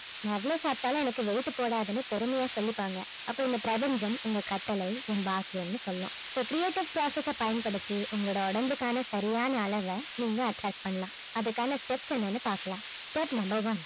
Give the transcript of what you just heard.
நான் எவ்வளவு சாப்பிட்டாலும் எனக்கு weight போடாதுன்னு பெருமையா சொல்லிப்பாங்க அப்ப இந்த பிரபஞ்சம் உங்க கட்டளை என் பாக்கியம்னு சொல்லும் so creative process அ பயன்படுத்தி உங்களுடைய உடம்புக்குக்கான சரியான அளவை நீங்க attract பண்ணலாம் அதுக்கான steps என்னன்னு பார்க்கலாம் step number one